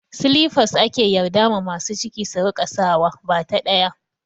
Silifas ake yardar ma masu ciki su rika saka wa, bata ɗaya